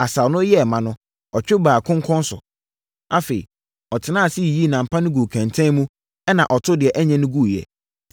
Asau no yɛɛ ma no, ɔtwe baa konkɔn so. Afei, ɔtenaa ase yiyii nam pa no guu kɛntɛn mu ɛnna ɔtoo deɛ ɛnyɛ no guiɛ.